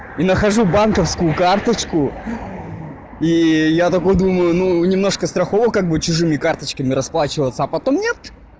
и нахожу банковскую карточку и я такой думаю ну немножко страхово как бы чужими карточками расплачиваться а потом нет